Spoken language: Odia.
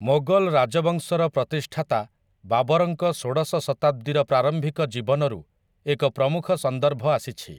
ମୋଗଲ ରାଜବଂଶର ପ୍ରତିଷ୍ଠାତା ବାବରଙ୍କ ଷୋଡଶ ଶତାବ୍ଦୀର ପ୍ରାରମ୍ଭିକ ଜୀବନୀରୁ ଏକ ପ୍ରମୁଖ ସନ୍ଦର୍ଭ ଆସିଛି ।